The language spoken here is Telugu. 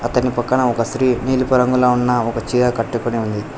అతని పక్కన ఒక స్త్రీ నీలుపు రంగులో ఉన్న ఒక చీర కట్టుకుని ఉంది.